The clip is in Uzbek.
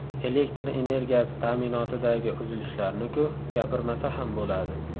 Elektr energiyasi ta’minotidagi uzilishlarni-ku, gapirmasa ham bo‘ladi.